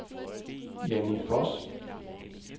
Janni Voss